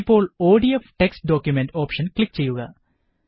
ഇപ്പോള് ODF text document option click ചെയ്യുക